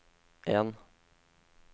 en